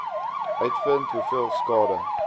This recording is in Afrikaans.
uitvind hoeveel skade